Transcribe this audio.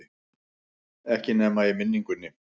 Ekki nema í minningunni.